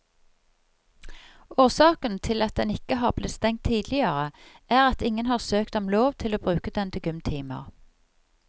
Årsaken til at den ikke har blitt stengt tidligere er at ingen har søkt om lov til å bruke den til gymtimer.